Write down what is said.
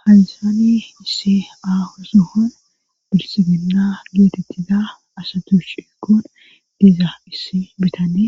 Hajaani issi aahu suhon bilsiginna geetetti da asatu ciqoon geza issi bitane